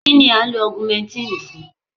Kínni à ń lo Augumentínì fún?